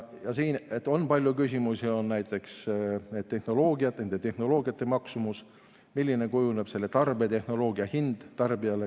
Siin on palju küsimusi, näiteks nende tehnoloogiate maksumus, milliseks kujuneb tarbetehnoloogia hind tarbijale.